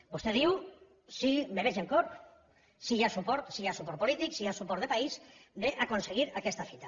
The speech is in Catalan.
vostè diu sí me veig amb cor si hi ha suport si hi ha suport polític si hi ha suport de país d’aconseguir aquesta fita